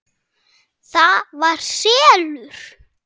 ÞAÐ VAR SELUR!